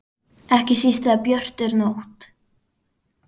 Ekki síst þegar björt er nótt.